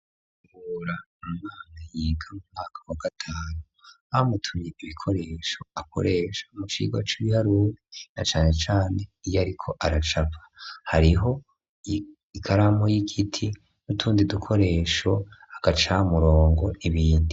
Kabura, umwana yiga umwaka wa gatanu bamutumye ibikoresho akoresha mu cigwa c'ibiharuri na cane cane iyo ariko aracapa, hariho ikaramu y'igiti nutundi dukoresho agaca murongo n’ibindi.